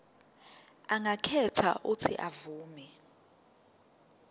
angakhetha uuthi avume